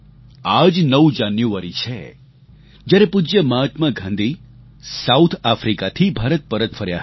આ જ ૯ જાન્યુઆરી છે જ્યારે પૂજ્ય મહાત્મા ગાંધી સાઉથ આફ્રિકાથી ભારત પરત ફર્યા હતા